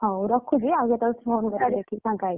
ହଉ ରଖୁଛି ଆଉ କେତେବେଳେ phone କରିବି ଦେଖିକି ଫାକଣା ହେଇକି।